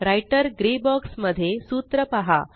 writer grey box मध्ये सूत्र पहा